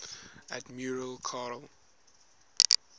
admiral karl